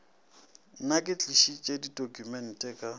nna ke tlišitše ditokumente ka